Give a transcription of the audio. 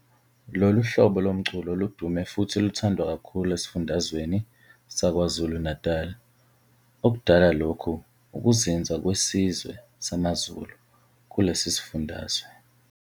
Lo lu hhlobo lomculo ludume futhi luthandwa kakhulu esifundazweni saKwaZulu Natali okudala lokhu ukuzinza kwesizwe samaZulu kulesi sifundazwe.